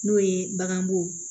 N'o ye baganmugu